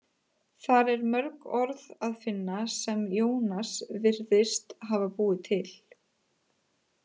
Þar er mörg orð að finna sem Jónas virðist hafa búið til.